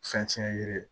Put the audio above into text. Fɛn tiɲɛ yiri